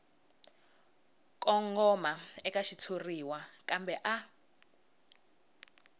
kongoma eka xitshuriwa kambe a